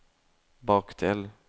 bakdel